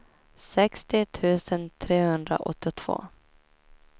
sextio tusen trehundraåttiotvå